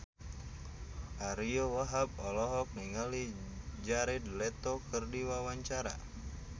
Ariyo Wahab olohok ningali Jared Leto keur diwawancara